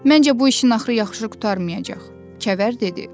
Məncə bu işin axırı yaxşı qurtarmayacaq, Kəvər dedi.